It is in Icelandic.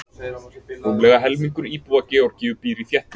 Rúmlega helmingur íbúa Georgíu býr í þéttbýli.